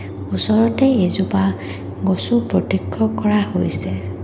ওচৰতে এজোপা গছো প্ৰত্যক্ষ কৰা হৈছে।